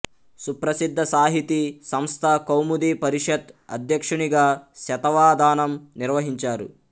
సుప్రసిద్ధ సాహితీ సంస్థ కౌముదీ పరిషత్ అధ్యక్షునిగా శతావధానం నిర్వహించారు